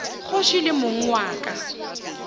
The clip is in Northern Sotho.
kgoši le mong wa ka